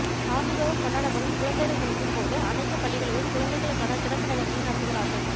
ஆண்டுதோறும் கொண்டாடப்படும் குழந்தைகள் தினத்தின் போது அனைத்து பள்ளிகளிலும் குழந்தைகளுக்கான சிறப்பு நிகழ்ச்சிகளை நடத்துகிறார்கள்